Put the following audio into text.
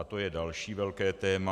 A to je další velké téma.